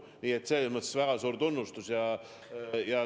Nii et selles mõttes väga suur tunnustus!